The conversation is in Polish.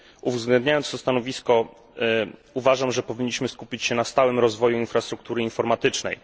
Uwzględniając to stanowisko uważam, że powinniśmy skupić się na stałym rozwoju infrastruktury informatycznej.